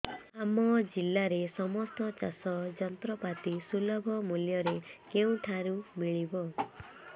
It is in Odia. ଆମ ଜିଲ୍ଲାରେ ସମସ୍ତ ଚାଷ ଯନ୍ତ୍ରପାତି ସୁଲଭ ମୁଲ୍ଯରେ କେଉଁଠାରୁ ମିଳିବ